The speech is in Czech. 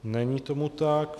Není tomu tak.